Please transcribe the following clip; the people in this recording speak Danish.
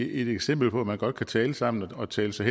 eksempel på at man godt kan tale sammen og tale sig